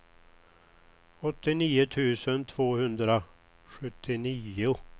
åttionio tusen tvåhundrasjuttionio